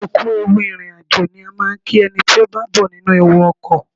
Ẹ kú ewu ìrìn àjò ni a máa ń kí ẹni tí ó bá bọ́ nínú ewu ọkọ̀.